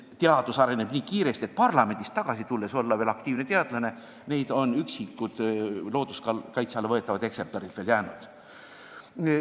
Teadus areneb nii kiiresti, et neid, kes parlamendist tagasi tulles suudavad olla aktiivsed teadlased, on vaid üksikuid looduskaitse alla võtmist vajavaid eksemplare veel alles jäänud.